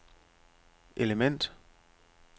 element